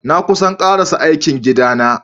Na kusan karasa aikin gida na.